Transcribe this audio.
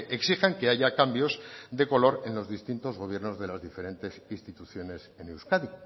exijan que haya cambios de color en los distintos gobiernos de las diferentes instituciones en euskadi